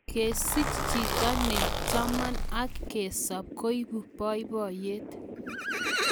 Kesich chito na cheman ak kesop koibu boboiyet